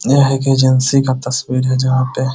यह एक एजेंसी का तस्वीर है जहां पे --